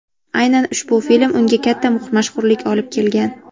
Aynan ushbu film unga katta mashhurlik olib kelgan.